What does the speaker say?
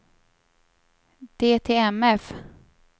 DTMF